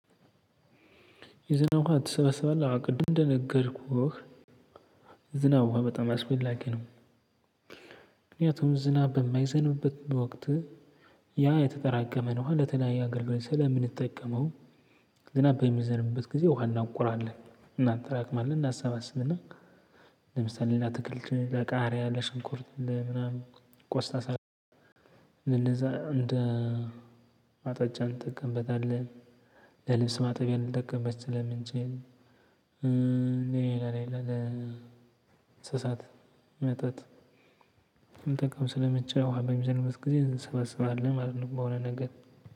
ዝናብ ውሃ ትሰበስባለህ? አዎ ቅድም እንደነገርኩህ ዝና ውሃ በጣም አስፈላጊ ነው። ምክንያቱም ዝናብ በማይዘንበት ወቅት ያ የተጠራቀመን ለተለያየ አገልግሎት ስለምንጠቀመው ዝናብ በሚዘንብበት ጊዜ ውሃ እናውቀዋለን፣ እናጠራቅማለን፣ እናሰባስብና ለምሳሌ ለአትክልት፣ ለቃሪያ፣ ለሸንኩርት ምናምን ቆስታ ሳትል እንደዛ እንደ ማጠጫን እንጠቀምበታለን። ለልብስ ማጠቢያ ልንጠቀምበት ስለምንችል፣ ሌላ ሌላ ለእንስሳት መጠጥ ልንጠቀምበት ስለምንችል ውሃ በምዘንብበት ጊዜ እናሰባስባለን ማለት ነው ብየሆነ ነገር።